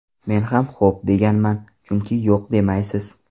Men ham xo‘p, deganman, chunki yo‘q demaysiz.